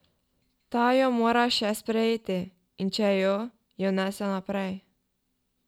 Ta jo mora še sprejeti, in če jo, jo nese naprej.